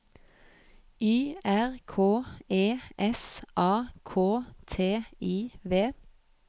Y R K E S A K T I V